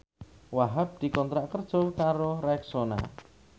Wahhab dikontrak kerja karo Rexona